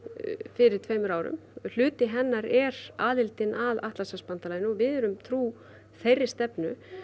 fyrir tveimur árum hluti hennar er aðildin að Atlantshafsbandalaginu og við erum trú þeirri stefnu